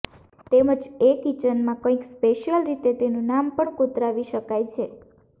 તેમજ એ કીચનમાં કંઈક સ્પેશીયલ રીતે તેનું નામ પણ કોતરાવી શકાય છે